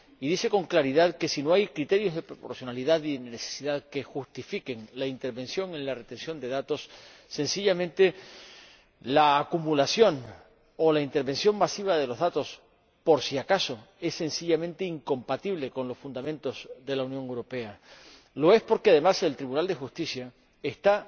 Y dice con claridad que, si no hay criterios de proporcionalidad y necesidad que justifiquen la intervención en la conservación de datos, la acumulación o la intervención masiva de los datos por si acaso, es sencillamente incompatible con los fundamentos de la Unión Europea. Lo es porque, además, el Tribunal de Justicia está